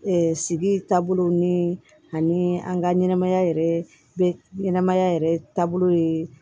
sigi taabolo ni an ka ɲɛnɛmaya yɛrɛ ɲɛnɛmaya yɛrɛ taabolo ye